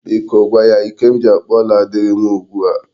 Biko gwa ya Ike m ji akpụ ọla adịghị m ugbu a.